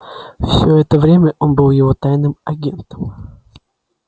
всё это время он был его тайным агентом